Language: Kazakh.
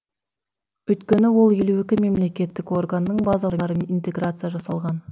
өйткені ол елу екі мемлекеттік органның базаларымен интеграция жасалған